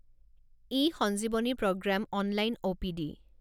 E Sanjeevani programme online OPD